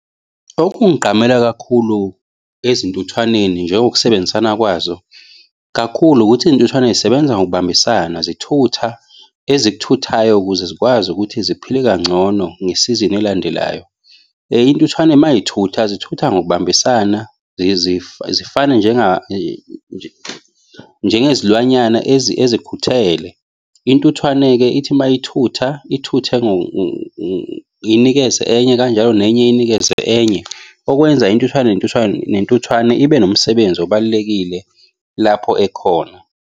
Okungigqamela kakhulu izintuthwaneni njengokusebenzisana kwazo kakhulu ukuthi iy'ntuthwane zisebenza ngokubambisana zithutha ezikuthuthayo ukuze zikwazi ukuthi ziphile kangcono ngesizini elandelayo. Intuthwane mayithutha zithutha ngokubambisana zifane njengezilwanyana ezikhuthele. Intuthwane-ke ithi mayithutha ithuthe inikeze enye kanjalo nenye inikeze enye. Okwenza intuthwane nentuthwane nentuthwane ibe nomsebenzi obalulekile lapho ekhona.